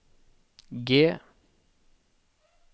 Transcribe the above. G